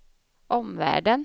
omvärlden